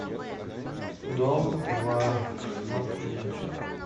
дом два смотреть